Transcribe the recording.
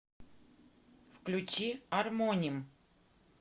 включи армоним